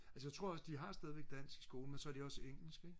altså jeg tror også de har stadig dansk i skolen men så har de også engelsk ikke